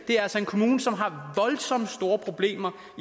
en kommune som har voldsomt store problemer